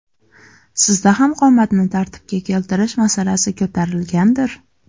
Sizda ham qomatni tartibga keltirish masalasi ko‘tarilgandir?